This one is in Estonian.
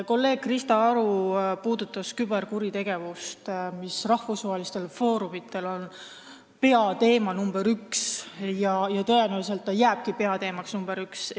Kolleeg Krista Aru puudutas küberkuritegevust, mis rahvusvahelistel foorumitel on peateema nr 1 ja tõenäoliselt jääbki peateemaks nr 1.